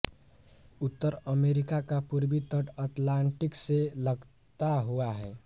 उत्तर America का पूर्वी तट अटलान्टिक से लगता हुआ है